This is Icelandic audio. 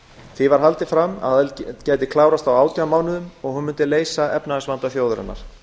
því var haldið fram að aðild gæti klárast á átján mánuðum og að hún mundi leysa efnahagsvanda þjóðarinnar